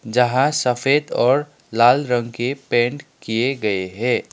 जहां सफेद और लाल रंग के पेंट किए गए हैं।